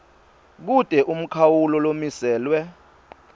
kute umkhawulo lomiselwe